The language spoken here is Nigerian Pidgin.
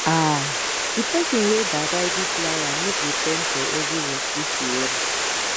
um the person wey da tidy flower nego ten for every work wey she run